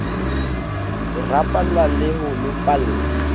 ho rapalla le ho lopalla